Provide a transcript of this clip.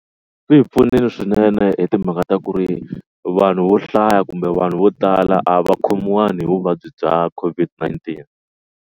Swi hi pfunile swinene hi timhaka ta ku ri vanhu vo hlaya kumbe vanhu vo tala a va khomiwanga hi vuvabyi bya COVID-19.